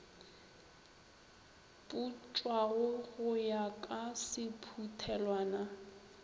putswago go ya ka sephuthelwana